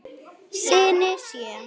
Syni sjö.